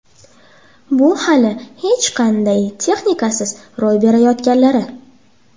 Bu hali hech qanday texnikasiz ro‘y berayotganlari.